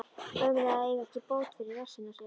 Ömurlegt að eiga ekki bót fyrir rassinn á sér.